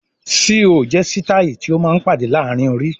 "Síí ò" jẹ́ sitai tí ó máa ń pàdé laarin orí.